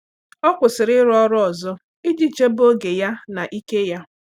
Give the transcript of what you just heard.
Ọ́ kwụ́sị̀rị̀ ị́rụ́ ọ́rụ́ ọzọ iji chèbé oge ya na ike ya.